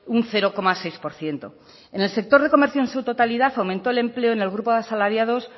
un cero coma seis por ciento en el sector de comercio en su totalidad aumentó el empleo en el grupo de asalariados